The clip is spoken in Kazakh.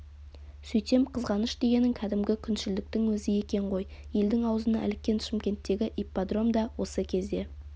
сөйтсем қызғаныш дегенің кәдімгі күншілдіктің өзі екен ғой елдің аузына іліккен шымкенттегі ипподром да осы кезде